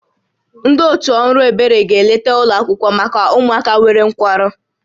Ndị otu ọrụ ebere ga-eleta ụlọ akwụkwọ maka ụmụaka nwere nkwarụ